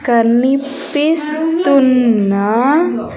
కనిపిస్తున్న.